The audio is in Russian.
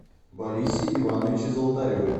борисе ивановиче золотареве